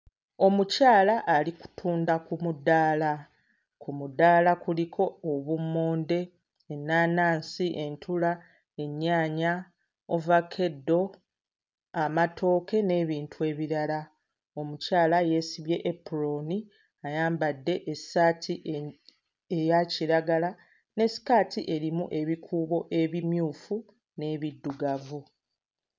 Omukyala ali kutunda ku mudaala, ku mudaala kuliko obummonde, ennaanansi, entula, ennyaanya, ovakkedo, amatooke n'ebintu ebirala. Omukyala yeesibye epulooni ayambadde essaati eh eya kiragala ne sikaati erimu ebikuubo ebimyufu n'ebiddugavu.